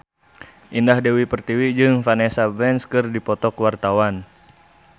Indah Dewi Pertiwi jeung Vanessa Branch keur dipoto ku wartawan